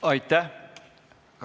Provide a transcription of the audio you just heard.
Aitäh!